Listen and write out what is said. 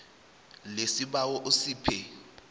le sibawa usiphe